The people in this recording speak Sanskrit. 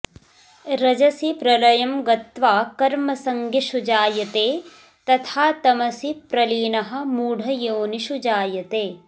रजसि प्रलयं गत्वा कर्मसङ्गिषु जायते तथा तमसि प्रलीनः मूढयोनिषु जायते